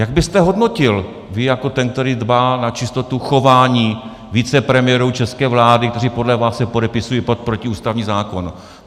Jak byste hodnotil vy jako ten, který dbá na čistotu chování vicepremiérů české vlády, kteří podle vás se podepisují pod protiústavní zákon?